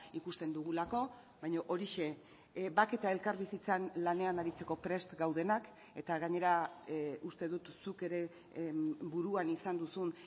ikusten dugulako baina horixe bake eta elkarbizitzan lanean aritzeko prest gaudenak eta gainera uste dut zuk ere buruan izan duzun